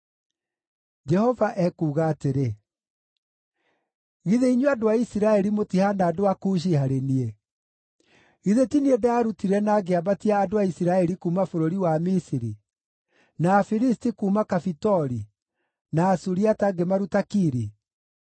Jehova ekuuga atĩrĩ: “Githĩ inyuĩ andũ a Isiraeli mũtihaana andũ a Kushi harĩ niĩ? Githĩ ti niĩ ndaarutire na ngĩambatia andũ a Isiraeli kuuma bũrũri wa Misiri, na Afilisti kuuma Kafitori, na Asuriata ngĩmaruta Kiri?